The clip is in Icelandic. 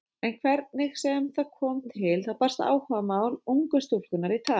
En hvernig sem það kom til þá barst áhugamál ungu stúlkunnar í tal.